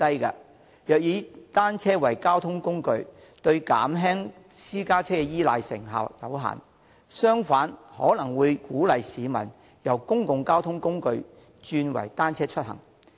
如果以單車作為交通工具，對減輕私家車依賴的成效有限，更可能會鼓勵市民由使用公共交通工具轉為單車出行。